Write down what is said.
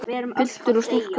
Piltur og stúlka.